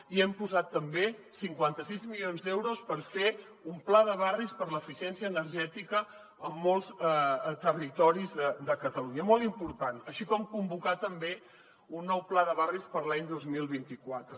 i hem posat també cinquanta sis milions d’euros per fer un pla de barris per a l’eficiència energètica en molts territoris de catalunya molt important així com convocar també un nou pla de barris per a l’any dos mil vint quatre